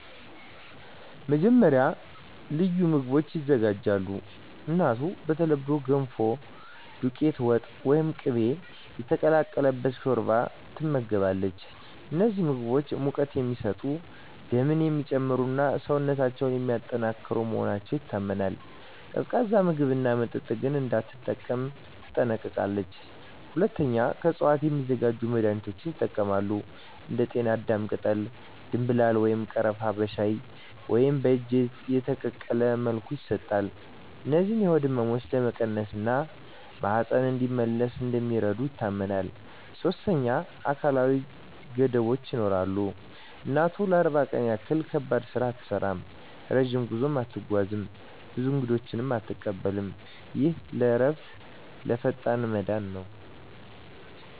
መጀመሪያ፣ ልዩ ምግቦች ይዘጋጃሉ። እናቱ በተለምዶ “ገንፎ”፣ “ዱቄት ወጥ” ወይም “ቅቤ የተቀላቀለ ሾርባ” ትመገባለች። እነዚህ ምግቦች ሙቀት የሚሰጡ፣ ደምን የሚጨምሩ እና ሰውነትን የሚያጠናክሩ መሆናቸው ይታመናል። ቀዝቃዛ ምግብና መጠጥ ግን እንዳትጠቀም ትጠነቀቃለች። ሁለተኛ፣ ከእፅዋት የሚዘጋጁ መድኃኒቶች ይጠቀማሉ። እንደ ጤናዳም ቅጠል፣ ደምብላል ወይም ቀረፋ በሻይ ወይም በእጅ የተቀቀለ መልኩ ይሰጣሉ። እነዚህ የሆድ ህመምን ለመቀነስ እና ማህፀን እንዲመለስ እንደሚረዱ ይታመናል። ሶስተኛ፣ አካላዊ ገደቦች ይኖራሉ። እናቱ ለ40 ቀን ያህል ከባድ ስራ አትሠራም፣ ረጅም ጉዞ አትጓዝም፣ ብዙ እንግዶችንም አትቀበልም። ይህ ለእረፍትና ለፈጣን መዳን ነው